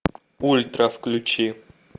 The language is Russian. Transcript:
ультра включи